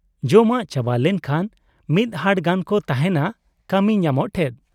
ᱡᱚᱢᱟᱜ ᱪᱟᱵᱟ ᱞᱮᱠᱷᱟᱱ ᱢᱤᱫ ᱦᱟᱴ ᱜᱟᱱ ᱠᱚ ᱛᱟᱦᱮᱱᱟ ᱠᱟᱢᱤᱧᱟᱢᱚᱜ ᱴᱷᱮᱫ ᱾